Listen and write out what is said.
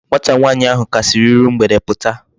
Nwata nwaanyi ahu ka si iru mgbede puta